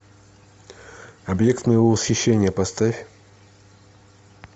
объект моего восхищения поставь